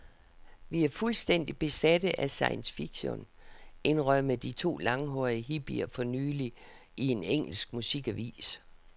Vi er fuldstændig besatte af science fiction, indrømmede de to langhårede hippier for nylig i en engelsk musikavis.